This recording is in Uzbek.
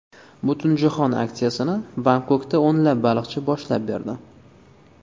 Butunjahon aksiyasini Bangkokda o‘nlab baliqchi boshlab berdi.